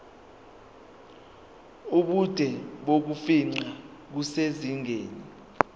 ubude bokufingqa kusezingeni